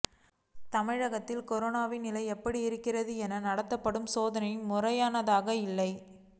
தமிழகத்தில் கரோனாவின் நிலை எப்படி இருக்கிறது என நடத்தப்படும் சோதனைகள் முறையானதாக இல்லை